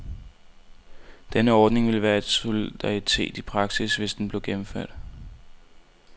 Denne ordning ville være solidaritet i praksis, hvis den blev gennemført.